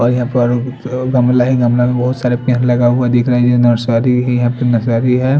और यहाँ पर गमला है गमला में बोहोत सारे पेड़ लगा हुआ दिखरा है ये सारी ही यहाँ पर नसारी है।